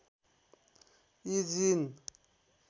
यी जीन